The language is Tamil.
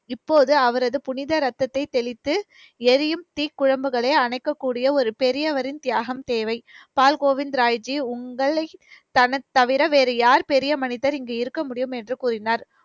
இப்போது அவரது புனித ரத்தத்தை தெளித்து எரியும் தீக்குழம்புகளை அணைக்கக்கூடிய ஒரு பெரியவரின் தியாகம் தேவை. பால் கோவிந்த் ராய்ஜி உங்களை தன~ தவிர வேறு யார் பெரிய மனிதர் இங்கு இருக்க முடியும் என்று கூறினார்.